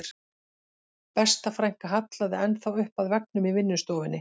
Besta frænka hallaði enn þá upp að veggnum í vinnustofunni